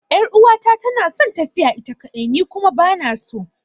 Yar'uwata tana son tafiya ita kaɗai, ni kuma ba na so.